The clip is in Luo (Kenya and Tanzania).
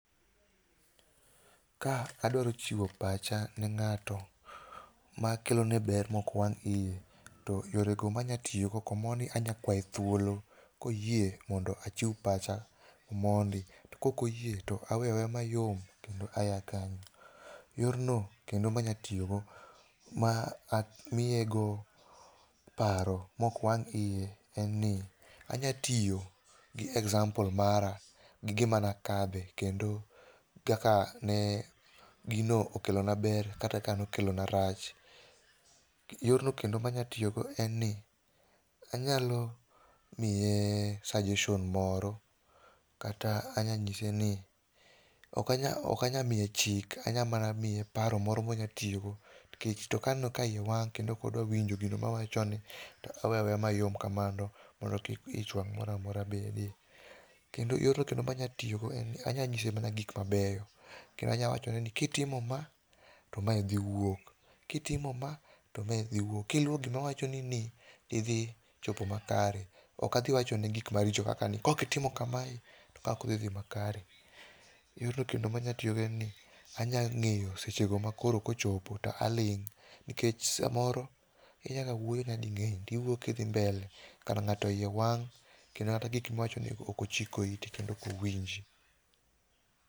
Ka adwaro chiwo pacha ne ng'ato, makelone ber mokwang' iye, to yorego manyatiogo, komondi anyakwae thuolo koyie mondo achiw pacha mondi, to kok oyie to aweyaweya mayom kendo aya kanyo. Yorno kendo manyatiogo ma amiego paro mokwang' iye enni, anyatio gi example mara, gige manakadehe kendo kaka ne gino okelona ber kata kanokelona rach. Yorno kendo manyatiogo enni, anyalo mie suggestion moro kata anyanyiseni okanya okanya mie chike, anyamana mie paro moro monyatiogo nkech to kaneno ka iye wang' kendo kodwa winjo gino mawachone to aweyaweya mayom kamano mondo kik ich wang' moramora bede. Kendo yorno kendo manyatiogo anyanyse mana ik mabeyo. Kendo anya wachoneni kitimo ma, to mae dhi wuok, kitimo ma to mae dhi wuok, kiluwo gimawachoni ni, to idhi chopo makare. Okadhiwachone gik maricho kaka ni "kokitimo kamae to ka okdhidhi makare". Yorno kendomanya tio enni, anyang'eyo sechego makoro kochopo to aling', nkech samoro inyaga wuoyo nyading'eny tiwuyo kidhi mbele, kara ng'ato iye wang', kendo kata gik miwachonego okochiko ite kendo okowinj.